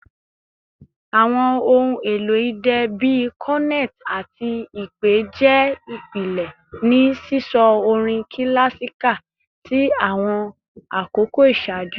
Awọn ohun elo idẹ bii cornet ati ipè jẹ ipilẹ ni sisọ orin kilasika ti awọn akoko iṣaaju